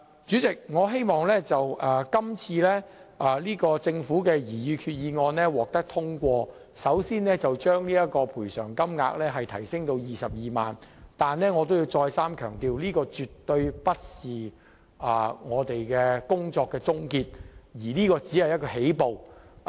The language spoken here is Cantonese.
主席，我希望政府今次的擬議決議案能夠獲得通過，先將親屬喪亡之痛賠償款額提高至 220,000 元，但我必須再三強調，這絕對不是工作的終結，只是起步而已。